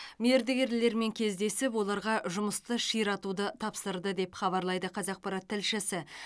мердігерлермен кездесіп оларға жұмысты ширатуды тапсырды деп хабарлайды қазақпарат тілшісі